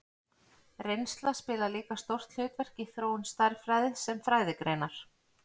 Reynsla spilar líka stórt hlutverk í þróun stærðfræði sem fræðigreinar.